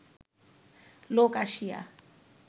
লোক আসিয়া